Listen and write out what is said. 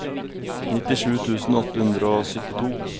nittisju tusen åtte hundre og syttito